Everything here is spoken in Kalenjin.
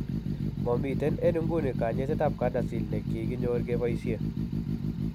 Momiten en inguni kanyaiset ab CADASIL nekikenyor koboisie